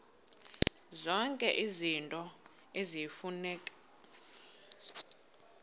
zonke izinto eziyimfuneko